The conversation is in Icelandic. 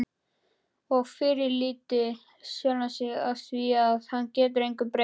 Og fyrirlíti sjálfan sig afþvíað hann getur engu breytt.